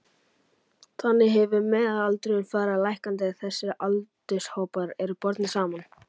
Þannig hefur meðalaldurinn farið lækkandi þegar þessir aldurshópar eru bornir saman.